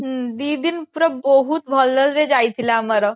ହୁଁ ଦି ଦିନ ପୁରା ବହୁତ ଭଲ ସେ ଯାଇଥିଲା ଆମର